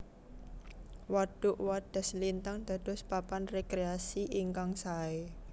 Wadhuk Wadhaslintang dados papan rekreasi ingkang sae